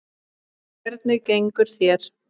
Hvernig gengur þér?